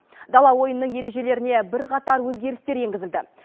дала ойынының ережелеріне бірқатар өзгерістер енгізілді